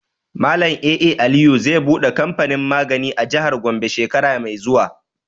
Malam A.A Aliyu zai buɗe kamfanin magani a jihar Gombe shekara mai zuwa.